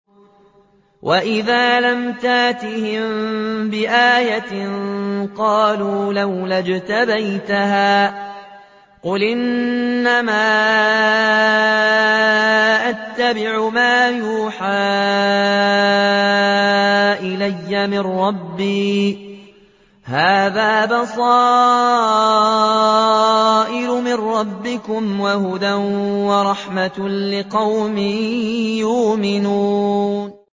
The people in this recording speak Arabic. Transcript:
وَإِذَا لَمْ تَأْتِهِم بِآيَةٍ قَالُوا لَوْلَا اجْتَبَيْتَهَا ۚ قُلْ إِنَّمَا أَتَّبِعُ مَا يُوحَىٰ إِلَيَّ مِن رَّبِّي ۚ هَٰذَا بَصَائِرُ مِن رَّبِّكُمْ وَهُدًى وَرَحْمَةٌ لِّقَوْمٍ يُؤْمِنُونَ